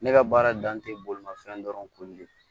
Ne ka baara dan tɛ bolimafɛn dɔrɔnw koli